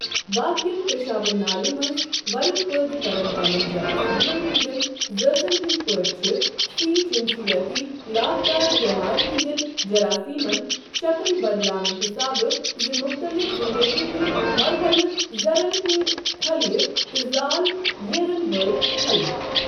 باقین پیشابہٕ نالہِ منٛز ورم پٲدٕ كرن والین جراشیمن ہندین زاژن ہٕندِ پٲٹھی چھ سی جِنسِیٲتی لاگدار بیمارِ ہندٮ۪ن جراثیمن شكل بدلاونہٕ حِسابہٕ زٕ مُختلِف زِندگی ہندِ مرحلہٕ زرن ہندِ خلیہ تہٕ زال ییرن وٲلۍ خلیہ۔